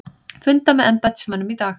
Funda með embættismönnum í dag